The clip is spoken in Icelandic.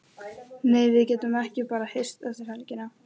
Nei, við getum bara hist eftir helgina.